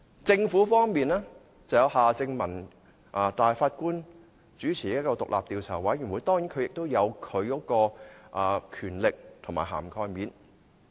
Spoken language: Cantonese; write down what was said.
政府方面，由法官夏正民主持的獨立調查委員會，當然也有其權力和涵蓋範圍。